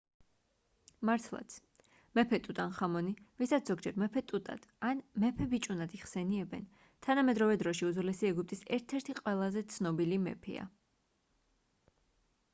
მართლაც მეფე ტუტანხამონი ვისაც ზოგჯერ მეფე ტუტად ან მეფე ბიჭუნად იხსენიებენ თანამედროვე დროში უძველესი ეგვიპტის ერთ-ერთი ყველაზე ცნობილი მეფეა